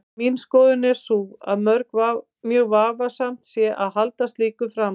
Mín skoðun er sú að mjög vafasamt sé að halda slíku fram.